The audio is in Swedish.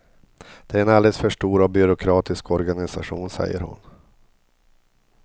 Det är en alldeles för stor och byråkratisk organisation, säger hon.